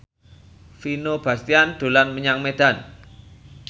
Vino Bastian dolan menyang Medan